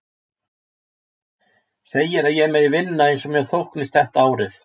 Segir að ég megi vinna eins og mér þóknist þetta árið.